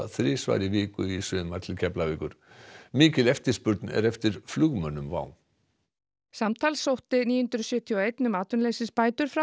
þrisvar í viku í sumar til Keflavíkur mikil eftirspurn er eftir flugmönnum WOW samtals sótti níu hundruð sjötíu og eitt um atvinnuleysisbætur frá